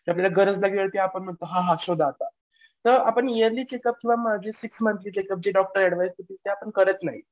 की आपल्याला गरज लागली तर आपण म्हणतो शोधा आता. तर आपण ईयरली चेकअप किंवा सिक्स मंथचे चेकअप चे जे डॉक्टर अडविसी देतात ते आपण करत नाही.